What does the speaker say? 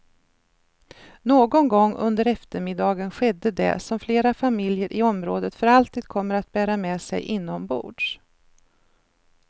Någon gång under eftermiddagen skedde det som flera familjer i området för alltid kommer att bära med sig inombords.